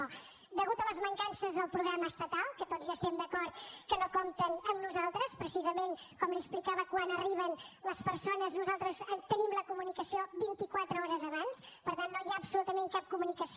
a causa de les mancances del programa estatal que tots hi estem d’acord que no compten amb nosaltres precisament com li explicava quan arriben les persones nosaltres tenim la comunicació vintiquatre hores abans per tant no hi ha absolutament cap comunicació